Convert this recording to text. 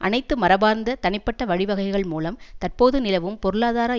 அனைத்து மரபார்ந்த தனிப்பட்ட வழிவகைகள் மூலம் தற்போது நிலவும் பொருளாதார